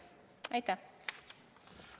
Aitäh!